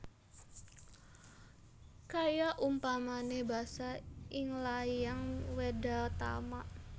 Kaya umpane basa ing layang Wedhatama